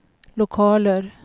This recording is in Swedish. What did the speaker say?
lokaler